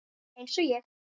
Eins og ég.